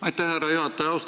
Aitäh, härra juhataja!